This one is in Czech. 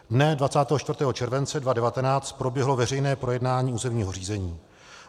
Dne 24. července 2019 proběhlo veřejné projednání územního řízení.